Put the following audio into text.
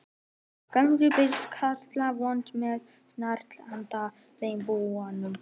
Um hádegisbil birtist Klara óvænt með snarl handa þeim báðum.